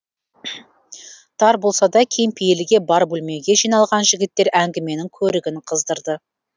тар болса да кең пейілге бар бөлмеге жиналған жігіттер әңгіменің көрігін қыздырды